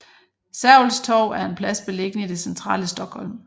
Sergels Torg er en plads beliggende i det centrale Stockholm